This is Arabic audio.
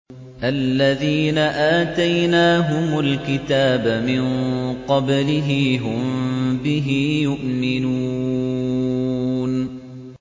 الَّذِينَ آتَيْنَاهُمُ الْكِتَابَ مِن قَبْلِهِ هُم بِهِ يُؤْمِنُونَ